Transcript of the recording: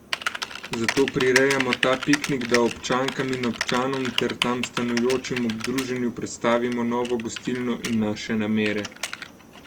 Zato prirejamo ta piknik, da občankam in občanom ter tam stanujočim ob druženju predstavimo novo gostilno in naše namere.